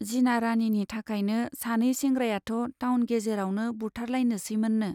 जिना राणीनि थाखायनो सानै सेंग्रायाथ' टाउन गेजेरावनो बुथारलायनोसैमोननो।